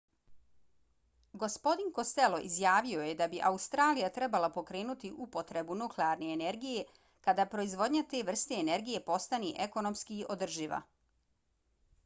gospodin costello izjavio je da bi australija trebala pokrenuti upotrebu nuklearne energije kada proizvodnja te vrste energije postane ekonomski održiva